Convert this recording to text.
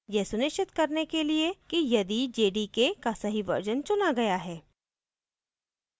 यह सुनिश्चित करने के लिए है यदि jdk का सही version चुना गया है